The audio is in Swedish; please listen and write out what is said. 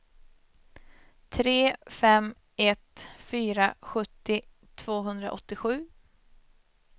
tre fem ett fyra sjuttio tvåhundraåttiosju